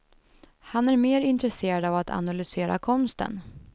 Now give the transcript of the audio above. Han är mer intresserad av att analysera konsten.